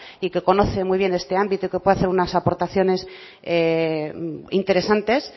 y que conoce muy bien este ámbito y que pueden hacer unas aportaciones interesantes